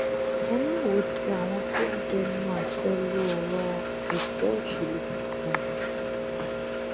ẹ má wo ti àwọn tó ń bẹnu àtẹ lu ọrọ ẹgbẹ òṣèlú tuntun o